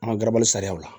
An ka garabali sariya la